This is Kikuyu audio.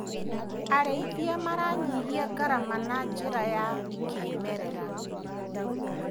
Arĩithia maranyihia ngarama na njĩra ya kĩmerera.